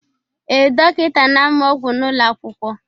Ee, dọkịta na-amụ ọgwụ n'ụlọ akwụkwọ.